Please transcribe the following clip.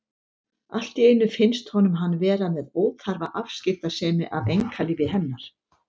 Allt í einu finnst honum hann vera með óþarfa afskiptasemi af einkalífi hennar.